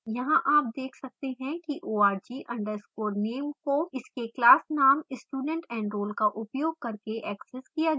यहाँ आप देख सकते हैं कि org _ name को इसके class name studentenroll का उपयोग करके accessed किया गया है